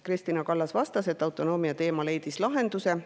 Kristina Kallas vastas, et autonoomia teema leidis lahenduse.